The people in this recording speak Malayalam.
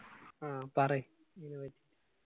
ആ പറയ്